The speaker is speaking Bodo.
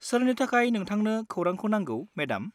सोरनि थाखाय नोंथांनो खौरांखौ नांगौ, मेडाम?